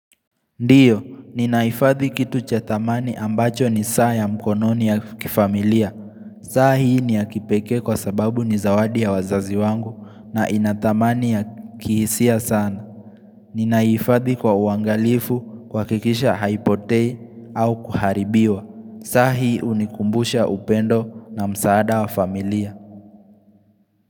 Ndiyo, ninahifadhi kitu cha thamani ambacho ni saa ya mkononi ya kifamilia. Saa hii ni ya kipekee kwa sababu ni zawadi ya wazazi wangu na ina thamani ya kihisia sana. Ninaiifadhi kwa uangalifu kuhakikisha haipotei au kuharibiwa. Saa hii unikumbusha upendo na msaada wa familia.